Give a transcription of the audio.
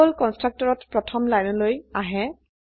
control কন্সট্ৰকটৰত প্ৰথম লাইনলৈ আহে